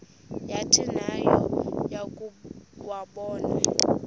yathi nayo yakuwabona